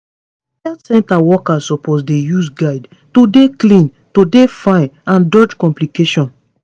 health center workers suppose dey use guides to dey clean to dey fine and dodge complication